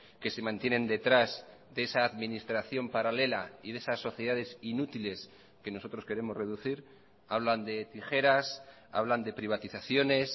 que se mantienen detrás de esa administración paralela y de esas sociedades inútiles que nosotros queremos reducir hablan de tijeras hablan de privatizaciones